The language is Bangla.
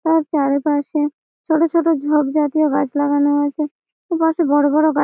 তার চারিপাশে ছোট ছোট ঝোপ জাতীয় গাছ লাগানো আছে। ওপাশে বড় বড় গাছ --